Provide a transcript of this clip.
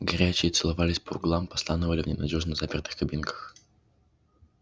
горячие целовались по углам постанывали в ненадёжно запертых кабинках